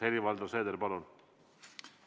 Helir-Valdor Seeder, palun!